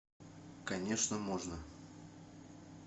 конечно можно